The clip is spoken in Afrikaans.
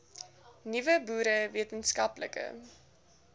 nuwe boere wetenskaplike